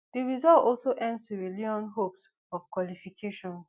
di result also end sierra leone hopes of qualification